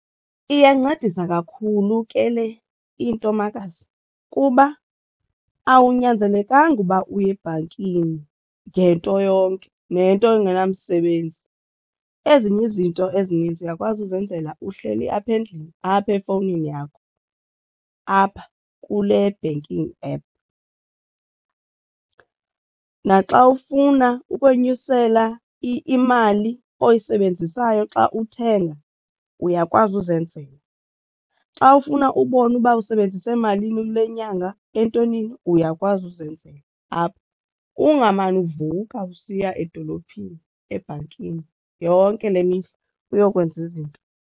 Iyancedisa kakhulu ke le into, makazi, kuba awunyanzelekanga ukuba uye ebhankini ngento yonke nento engenamsebenzi. Ezinye izinto ezininzi uyakwazi uzenzela uhleli apha endlini apha efowunini yakho apha kule banking app. Naxa ufuna ukwenyusela imali oyisebenzisayo xa uthenga uyakwazi uzenzela, xa ufuna ubona uba usebenzise emalini kule nyanga entwenini uyakwazi uzenzela apha ungamane uvuka usiya edolophini ebhankini yonke le mihla uyokwenza izinto.